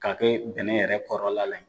Ka kɛ bɛnɛn yɛrɛ kɔrɔla la yen.